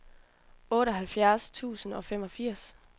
otteoghalvfjerds tusind og femogfirs